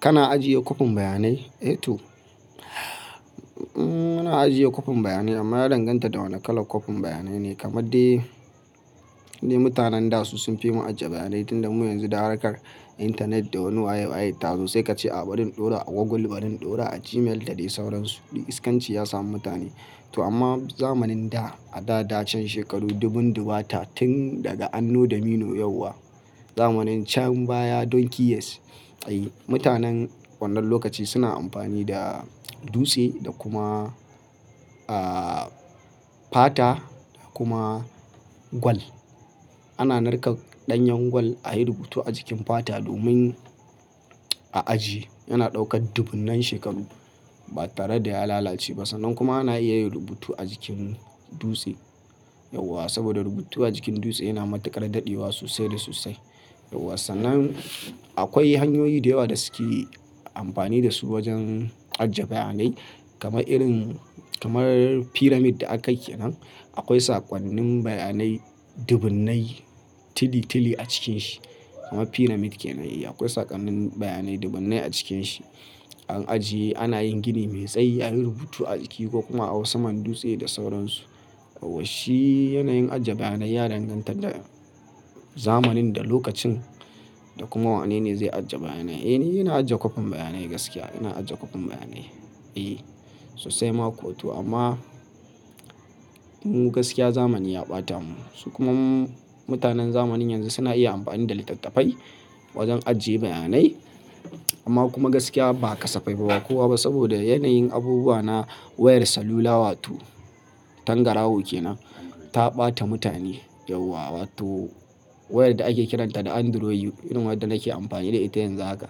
Kana ajiye kopin bayanai? Eto. MuNa ajiye kopin bayanai amma ya danganta da wane kalan kopin bayanai ne. Kamade mutanen da su sun fi mu ajiye bayanai tunda mu yanzu da harkar intanet da wani waye waye tazo, sai kace a barin ɗora a Google, barin ɗora a Gmail da dai sauransu. Iskanci ya samu mutane. To amma zamanin da a dadacen shekaru dubun dubata tun daga anno dominu yauwa. Zamanin can baya don keyes. Mutanen wannan lokaci suna amfani da dutse da kuma, ah, fata kuma gwal. Ana narkar ɗanyan gwal a yi rubutu a jikin fata domin a ajiye. Yana ɗaukar dubunnan shekaru ba tare da ya lalace ba. Sannan kuma ana iya yin rubutu a jikin dutse. Yauwa. Saboda rubutu a jikin dutse yana matuƙar dadewa sosai da sosai. Yauwa. Sannan akwai hanyoyi da yawa da suke amfani da su wajen ajiye bayanai kamar irin, kamar pyramid da aka ke nan. Akwai saƙonnin bayanai dubunnai tili tili a cikinsa. Kamar pyramid kenan yi. Akwai saƙonnin bayanai dubunnai a cikinsa. An ajiye. Ana yin gini mai tsayi, a yi rubutu a jiki ko kuma a hau saman dutse da sauransu. Yauwa. Shi yanayin ajiye bayanai ya danganta da zamanin da lokacin da kuma wane ne zai ajiye bayanai. Eh, ni ina ajiye kopin bayanai gaskiya. Ina ajiye kopin bayanai. E, sosai ma kuwa to amma mu gaskiya zamani ya ɓata mu. Su kuma mutanen zamanin yanzu suna iya amfani da littattafai wajen ajiye bayanai. Amma kuma gaskiya ba kasafai ba kowa ba saboda yanayin abubuwa na wayar salula wato tangaraho ke nan ta ɓata mutane. Yauwa. Wato wayar da ake kiranta da Androyi irin wadda nake amfani da ita yanzu haka.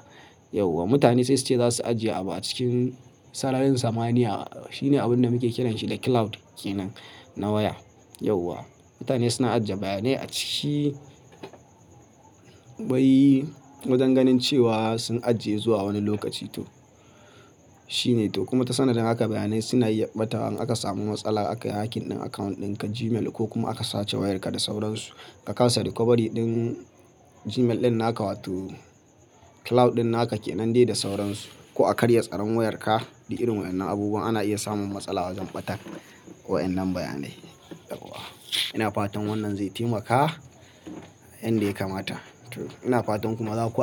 Yauwa. Mutane sai su ce za su ajiye abu a cikin sararin samaniya. Shi ne abun da muke kiranshi da cloud kenan na waya. Yauwa. Mutane suna ajiye bayanai a ciki bai wajen ganin cewa sun ajiye zuwa wani lokaci tu. Shi ne to. Kuma ta sanadin haka bayanai suna iya ɓata in aka samu matsala aka hacking ɗin account ɗinka Gmail ko kuma aka sace wayarka da sauransu. Ka kasa recovery ɗin Gmail ɗin naka wato cloud ɗin naka kenan dai da sauransu ko a karya tsaron wayarka da irin waɗannan abubuwa ana iya samun matsala wajen ɓatar ko waɗannan bayanai. Yauwa. Ina fatan wannan zai taimaka yanda ya kamata. Ina fatan kuma za ku.